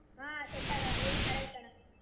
ಹಾ set ಆಗಲ್ಲಾ ಅದನು ಕರೆ ಐತಿ ಅಣ್ಣಾ.